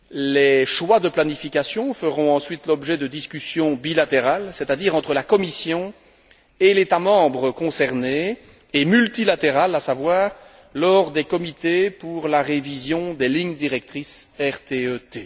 Les choix de planification feront ensuite l'objet de discussions bilatérales, c'est à dire entre la Commission et l'État membre concerné, et multilatérales, lors des comités pour la révision des lignes directrices RTE T.